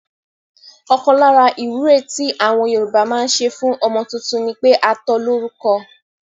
Ọkàn lára ìwúre tí àwọn Yorùbá máa ń ṣe fún ọmọ tuntun ni pé a tó lórúko